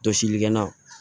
Jɔsilikɛlan